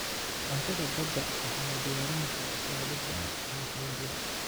Cuntada badda waxaa loo diyaarin karaa siyaabo badan oo kala duwan.